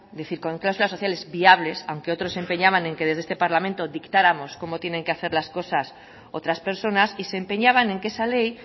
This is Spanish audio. decir con cláusulas sociales viables aunque otros se empeñaban en que desde este parlamento dictáramos cómo tienen que hacer las cosas otras personas y se empeñaban en que esa ley